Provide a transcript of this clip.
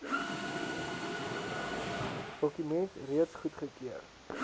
dokument reeds goedgekeur